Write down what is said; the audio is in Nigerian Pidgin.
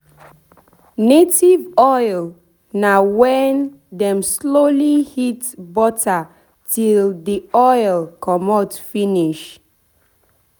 native oil na wen dem slowly heat butter till the oil commot finish